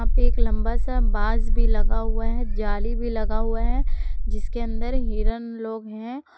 एक लंबा सा बांस भी लगा हुआ है जाली भी लगा हुआ है जिसके अंदर हिरण लोग हैं।